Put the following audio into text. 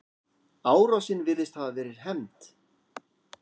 Árásin virðist hafa verið hefnd.